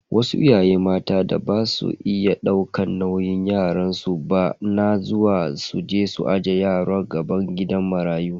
Wasu iyaye mata da baza su iya daukan nauyin yaransu ba na zuwa su ije yaro a gaban gidan marayu.